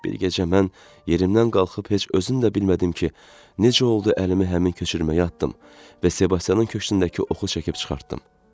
Bir gecə mən yerimdən qalxıb heç özüm də bilmədim ki, necə oldu əlimi həmin köçürməyə atdım və Sebastianın köksündəki oxu çəkib çıxartdım.